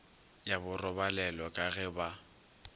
ya borobalelo ka ge ba